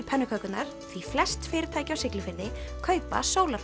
pönnukökurnar því flest fyrirtæki á Siglufirði kaupa